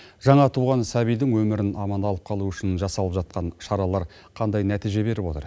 жаңа туған сәбидің өмірін аман алып қалу үшін жасалып жатқан шаралар қандай нәтиже беріп отыр